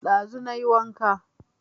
Ɗazu na yi wanka